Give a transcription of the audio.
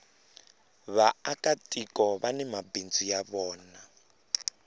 vaaka tiko vani mabindzu ya vona